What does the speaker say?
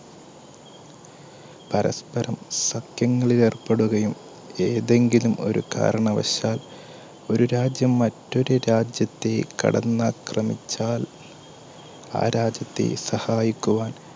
പരസ്പരം സഖ്യങ്ങളിൽലേർപ്പെടുകയും ഏതെങ്കിലും ഒരു കാരണവശാൽ ഒരു രാജ്യം മറ്റൊരു രാജ്യത്തെ കടന്നാക്രമിച്ചാൽ ആ രാജ്യത്തെ സഹായിക്കുവാൻ